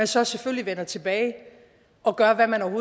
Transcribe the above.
så selvfølgelig vender tilbage og gør hvad man